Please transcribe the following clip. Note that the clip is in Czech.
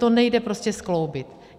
To nejde prostě skloubit.